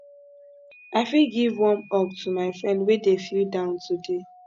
i fit give warm hug to my friend wey dey feel down today